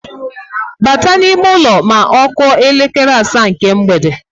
Bata n’ime ụlọ ma ọ kụọ elekere asaa nke mgbede